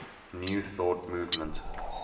new thought movement